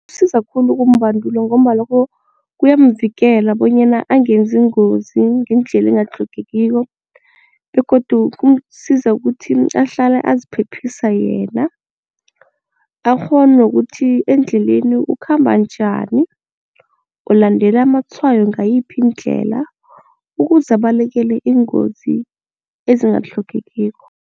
Kusiza khulu ukumbandula ngombana loko kuyamvikela bonyana angenzi ingozi ngendlela engatlhogekiko begodu kumsiza kuthi ahlale aziphephisa yena, akghone nokuthi endleleni ukhamba njani, ulandela amatshwayo ngayiphi indlela ukuze abalekele ingozi ezingatlhogekiko.